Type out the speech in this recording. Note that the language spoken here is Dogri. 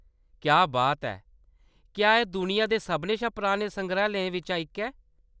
क्या बात ऐ ! क्या एह्‌‌ दुनिया दे सभनें शा पुराने संग्रैहालयें बिच्चा इक ऐ ?